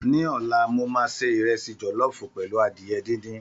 Ní ọlá, mo máa se ìrẹsì jọ̀lọ́ọ̀fù pẹ̀lú adìyẹ díndín